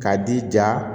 K'a d'i ja